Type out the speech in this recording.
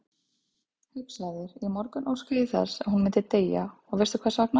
Hugsaðu þér, í morgun óskaði ég þess að hún myndi deyja og veistu hversvegna?